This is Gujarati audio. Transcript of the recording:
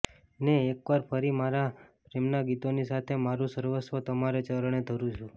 ને એકવાર ફરી મારાં પ્રેમનાં ગીતોની સાથે મારું સર્વસ્વ તમારે ચરણે ધરું છું